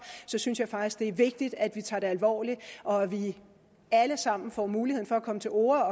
så synes jeg faktisk det er vigtigt at vi tager det alvorligt og at vi alle sammen får muligheden for at komme til orde